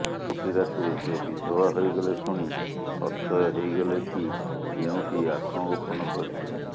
ଚଉଠି ରାତିରେ ସେ ବିଧବା ହେଇଗଲା ଶୁଣି ଅଥୟ ହେଇଗଲେ କି ଯେଉଁଠି ଆତ୍ମଗୋପନ କରିଥିଲେ